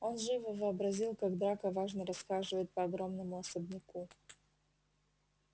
он живо вообразил как драко важно расхаживает по огромному особняку